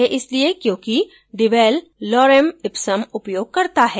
यह इसलिए क्योंकि devel lorem ipsum उपयोग करता है